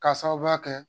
K'a sababuya kɛ